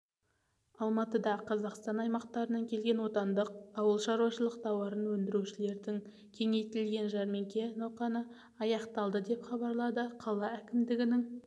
алматыда қазақстан аймақтарынан келген отандық ауылшаруашылық тауарын өндірушілердің кеңейтілген жәрмеңке науқаны аяқталды деп хабарлады қала әкімдігінің